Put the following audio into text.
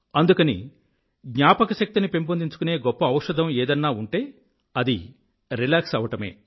అందుకని జ్ఞాపకశక్తిని పెంపొందించుకునే గొప్ప ఔషధం ఏదన్నా ఉంటే అది రిలాక్స్ అవ్వడమే